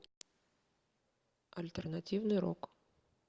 альтернативный рок